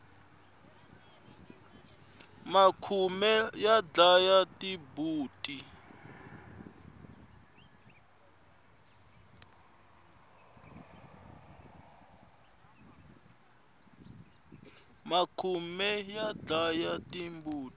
makhume ya dlaya timbuti